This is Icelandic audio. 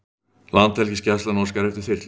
Landhelgisgæslan óskar eftir þyrlu